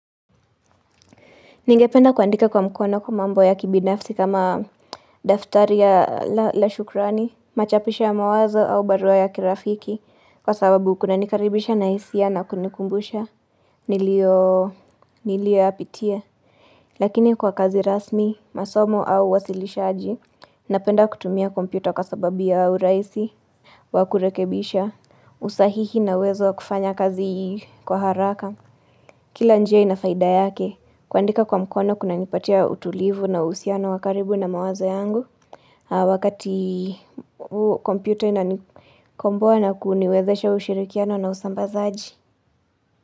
Ningependa kuandika kwa mkono kwa mambo ya kibinafsi kama daftari ya la shukrani, machapisho ya mawazo au barua ya kirafiki kwa sababu kuna nikaribisha na hisia na kunikumbusha nilio, nilioyapitia. Lakini kwa kazi rasmi, masomo au uwasilishaji, napenda kutumia kompyuta kwa sababu yu urahisi wakurekebisha usahihi na uwezo kufanya kazi kwa haraka Kila njia ina faida yake. Kuandika kwa mkono kunanipatia utulivu na uhusiano wa karibu na mawaza yangu wakati kompyuta inanikomboa na kuniwezesha ushirikiano na usambazaji.